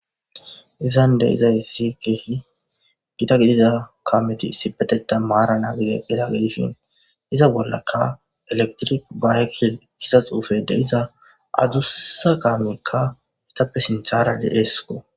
Izan de7izayssi keehi gita gidida kameti isipetettan maarani eqqida gidishin iza bollaka elektrik bayeil giza xuufe de'iza adussa kaamekka etappe sinthara de7eesko.